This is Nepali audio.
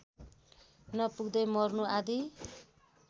नपुग्दै मर्नु आदि